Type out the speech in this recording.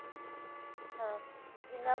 ਹਾਂ ਜਿੰਨਾ